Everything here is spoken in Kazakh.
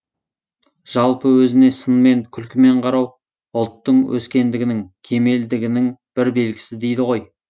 жалпы өзіне сынмен күлкімен қарау ұлттың өскендігінің кемелдігінің бір белгісі дейді ғой